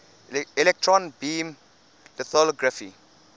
electron beam lithography